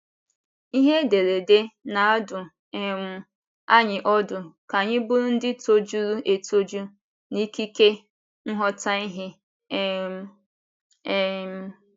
Ihe ederede na - adụ um anyị ọdụ ka anyị bụrụ ndị tojuru etoju n’ikike nghọta ihe um. um ’